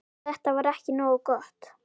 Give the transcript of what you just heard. Þetta var ekki nógu gott.